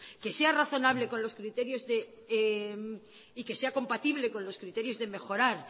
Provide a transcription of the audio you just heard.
que se razonable con los criterios y que sea compatible con los criterios de mejorar